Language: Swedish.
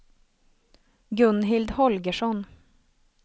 Gunhild Holgersson